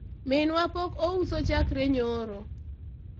minwa pok ouso chakre nyoro